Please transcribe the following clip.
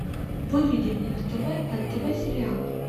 выведи мне на тв нтв сериал